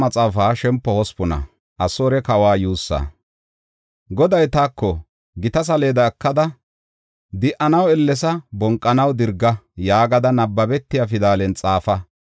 Goday taako, “Gita saleeda ekada, ‘Di7anaw ellesa! Bonqanaw dirga!’ yaagada nabbabetiya pidalen xaafa.